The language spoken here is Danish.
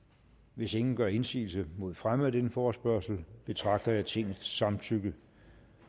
hvis ingen gør indsigelse mod fremme af denne forespørgsel betragter jeg tingets samtykke